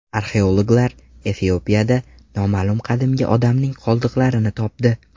Arxeologlar Efiopiyada noma’lum qadimgi odamning qoldiqlarini topdi.